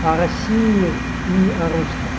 о россии и о русских